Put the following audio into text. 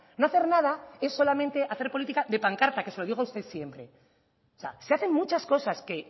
no hacer nada es solamente hacer política de pancarta que se lo digo a usted siempre o sea se hacen muchas cosas que